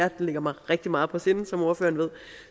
ligger mig rigtig meget på sinde som ordføreren ved